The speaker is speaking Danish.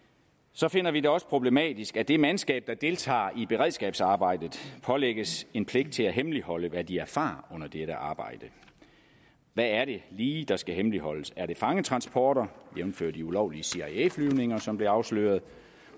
så finder vi det også problematisk at det mandskab der deltager i beredskabsarbejdet pålægges en pligt til at hemmeligholde hvad de erfarer under dette arbejde hvad er det lige der skal hemmeligholdes er det fangetransporter jævnfør de ulovlige cia flyvninger som blev afsløret